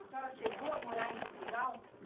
A senhora chegou a morar em Portugal?